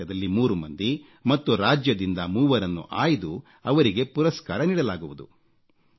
ಜಿಲ್ಲಾಮಟ್ಟದಲ್ಲಿ 3 ಮಂದಿ ಮತ್ತು ರಾಜ್ಯದಿಂದ ಮೂವರನ್ನು ಆಯ್ದು ಅವರಿಗೆ ಪುರಸ್ಕಾರ ನೀಡಲಾಗುವುದು